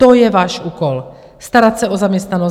To je váš úkol, starat se o zaměstnanost.